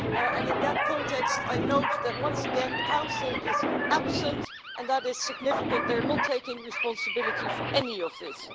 And in that context I note that once again the Council is absent, and that is significant they're not taking responsibility for any of this.